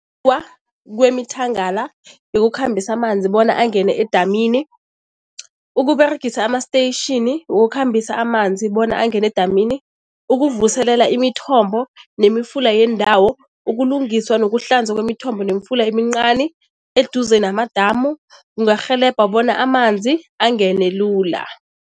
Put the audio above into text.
kwemithangala yokukhambisa amanzi bona angene edamini, ukUberegisa ama-station wokukhambisa amanzi bona angene edamini, ukuvuselela imithombo nemifula yeendawo, ukulungiswa nokuhlanza kwemithombo nemifula emincani eduze namadamu kungarhelebha bona amanzi angene lula.